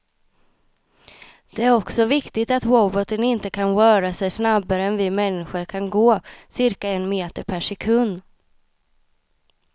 Det är också viktigt att roboten inte kan röra sig snabbare än vi människor kan gå, cirka en meter per sekund.